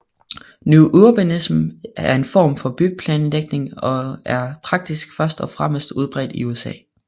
New Urbanism er en form for byplanlægning og er som praksis først og fremmest udbredt i USA